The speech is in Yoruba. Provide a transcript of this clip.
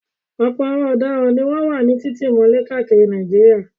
Ọ̀pọ̀ àwọn ọ̀daràn ni wọ́n wà ní títì mọ́lẹ̀ káàkiri Nàìjíríà.